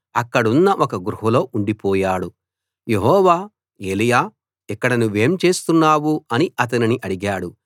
అక్కడున్న ఒక గుహలో ఉండిపోయాడు యెహోవా ఏలీయా ఇక్కడ నువ్వేం చేస్తున్నావ్ అని అతనిని అడిగాడు